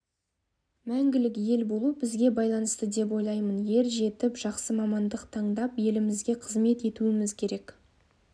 мәңгілік ел болу бізге байланысты деп ойлаймын ер жетіп жақсы мамандық таңдап елімізге қызмет етуіміз керек